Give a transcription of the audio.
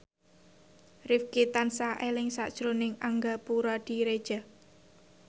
Rifqi tansah eling sakjroning Angga Puradiredja